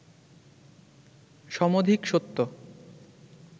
সমধিক সত্য